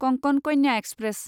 Konkan Kanya express